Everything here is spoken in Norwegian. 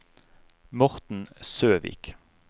Morten Søvik